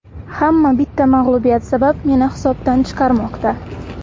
Hamma bitta mag‘lubiyat sabab meni hisobdan chiqarmoqda.